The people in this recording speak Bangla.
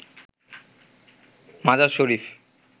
মাজার শরীফ